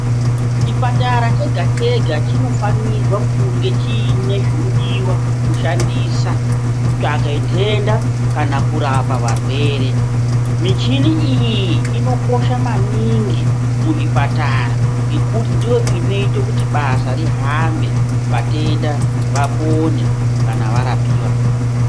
Chipatara chega chega chinofanirwa kunge chiine zvinodiwa kushandisa kutsvake ndenda kana kurapa varwere, michini iyi inokosha maniiingi muzvipatara ngekuti ndiyo inoite kuti basa rihambe vatenda vapone kana varapiwa.